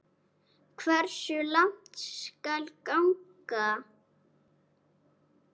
Hversu langt skal ganga?